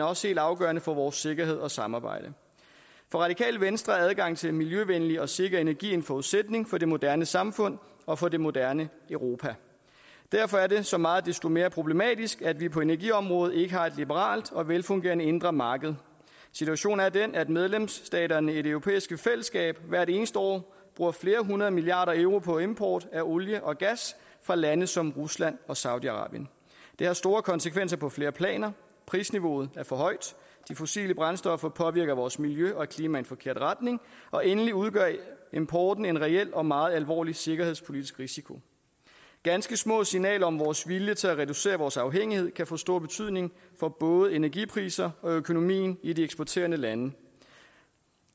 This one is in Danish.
er også helt afgørende for vores sikkerhed og samarbejde for radikale venstre er adgangen til miljøvenlig og sikker energi en forudsætning for det moderne samfund og for det moderne europa derfor er det så meget desto mere problematisk at vi på energiområdet ikke har et liberalt og velfungerende indre marked situationen er den at medlemsstaterne i det europæiske fællesskab hvert eneste år bruger flere hundrede milliarder euro på import af olie og gas fra lande som rusland og saudi arabien det har store konsekvenser på flere planer prisniveauet er for højt de fossile brændstoffer påvirker vores miljø og klima i den forkerte retning og endelig udgør importen en reel og meget alvorlig sikkerhedspolitisk risiko ganske små signaler om vores vilje til at reducere vores afhængighed kan få stor betydning for både energipriser og økonomi i de eksporterende lande